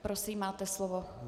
Prosím, máte slovo.